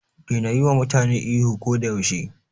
Daina yiwa mutane ihu ko da yaushe.